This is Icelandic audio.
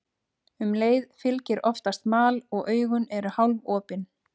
Um leið fylgir oftast mal og augun eru hálfopin.